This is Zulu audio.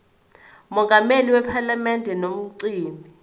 mongameli wephalamende nomgcini